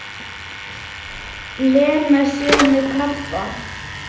Lena sé með krabba.